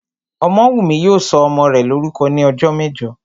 Ọmọ́wùnmí yóò sọ ọmọ rẹ̀ lórúkọ ní ọjọ́ mẹ́jọ